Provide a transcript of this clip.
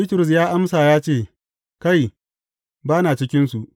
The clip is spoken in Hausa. Bitrus ya amsa ya ce, Kai, ba na cikinsu!